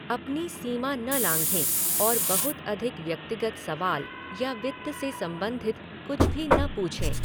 अपनी सीमा न लाँघें और बहुत अधिक व्यक्तिगत सवाल या वित्त से संबंधित कुछ भी न पूछें।